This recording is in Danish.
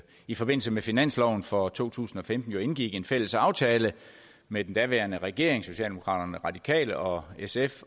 i forbindelse med finansloven for to tusind og femten jo indgik en fælles aftale med den daværende regering socialdemokraterne og radikale og sf